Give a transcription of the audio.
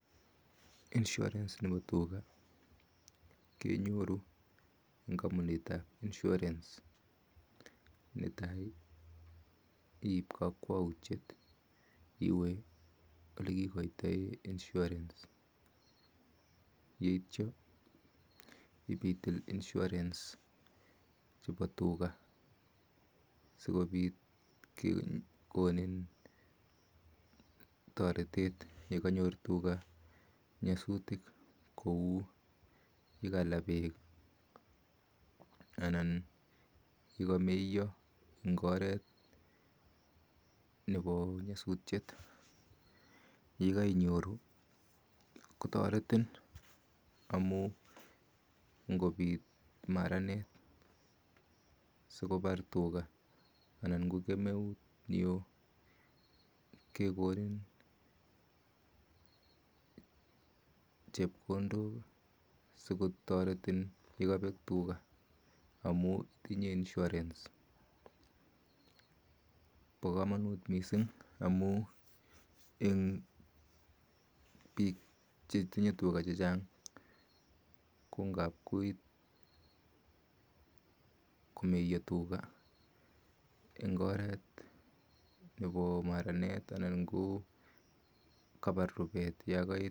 insurance[cs nepo tuga kenyoru eng kampunitap insurance. Netai iip kakwoutiet iwe olekikoitoe insurance yeityo ipitil insurance chepo tuga sikobit kekonin toretet yekanyor tuga nyosutik kou yakala beek anan yakameiyo eng oret nepo nyosutiet. yekainyoru kotoretin amu nkopit maranet sikipar tuga anan ko kemeut neo kekonin chepkondok sikotoretin yekabek tuga amu itinye insurance. Po komonut mising amu eng biik chetinye tuga chechang ko ngap koit komeiyo tuga eng oret nepo maranet anan ko kapar rupet yakoet.